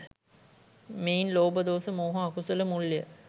මෙයින් ලෝභ, දෝස, මෝහ අකුසල මුල් ය.